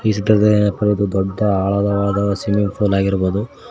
ಚಿತ್ರದಲ್ಲಿ ಏನಪ್ಪಾ ಒಂದು ದೊಡ್ಡ ಆಳದ ಸ್ವಿಮ್ಮಿಂಗ್ ಪೂಲ್ ಆಗಿರಬಹುದು.